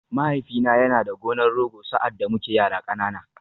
Mahaifina yana da gonar Rogo sa’ad da muke yara ƙanana.